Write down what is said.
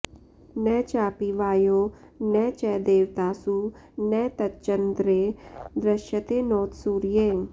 न चापि वायौ न च देवतासु न तच्चन्द्रे दृश्यते नोत सूर्ये